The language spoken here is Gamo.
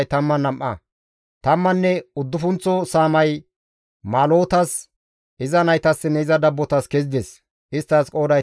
Tammanne uddufunththo saamay Maalotas, iza naytassinne iza dabbotas kezides; isttas qooday 12.